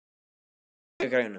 Erlinda, lækkaðu í græjunum.